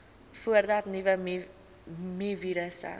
voordat nuwe mivirusse